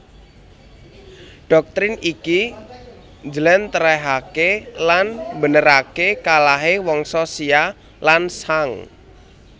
Dhoktrin iki njlèntrèhaké lan mbeneraké kalahé Wangsa Xia lan Shang